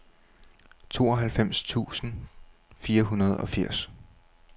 tooghalvfems tusind fire hundrede og firs